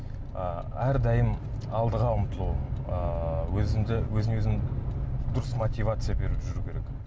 ыыы әрдайым алдыға ұмтылу ыыы өзіңе өзің дұрыс мотивация беріп жүру керек